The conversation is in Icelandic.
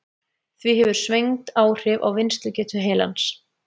Því hefur svengd áhrif á vinnslugetu heilans.